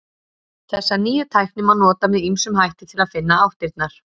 Þessa nýju tækni má nota með ýmsum hætti til að finna áttirnar.